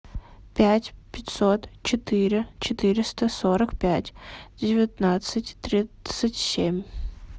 пять пятьсот четыре четыреста сорок пять девятнадцать тридцать семь